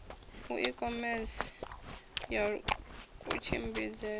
a i khomese ya kutshimbidzele